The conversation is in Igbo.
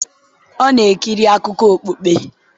ọ̀ na-ekiri akụkọ okpukpe?